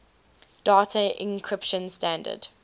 data encryption standard